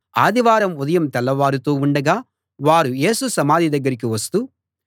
ఆదివారం ఉదయం తెల్లవారుతూ ఉండగా వారు యేసు సమాధి దగ్గరికి వస్తూ